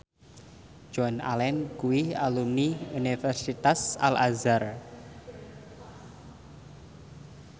Joan Allen kuwi alumni Universitas Al Azhar